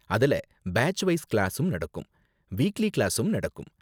அதுல batch wise கிளாஸும் நடக்கும், வீக்லி கிளாஸும் நடக்கும்.